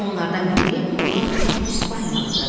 Onlardan biri lalkar İspaniyalıdır.